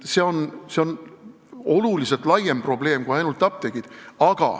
See on tunduvalt laiem probleem kui ainult apteegid.